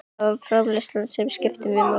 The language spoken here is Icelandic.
Það er framreiðslan sem skiptir máli hér.